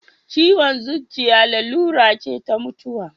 Ciwon zuciya larura ce ta mutuwa.